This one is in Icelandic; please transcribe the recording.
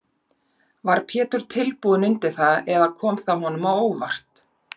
Var Pétur tilbúinn undir það eða kom það honum á óvart?